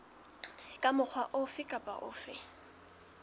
ka mokgwa ofe kapa ofe